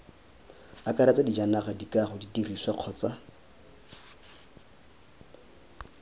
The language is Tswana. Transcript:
akaretsa dijanaga dikago didirisiwa kgotsa